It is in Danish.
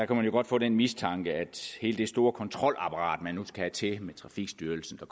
kan man jo godt få den mistanke at hele det store kontrolapparat man nu skal have til at kontrollere med trafikstyrelsen og